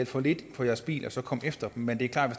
for lidt for deres bil og så komme efter dem men det er klart at